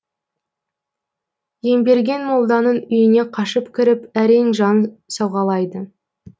емберген молданың үйіне қашып кіріп әрең жан сауғалайды